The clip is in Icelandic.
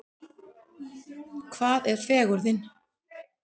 Hvað er fegurðin?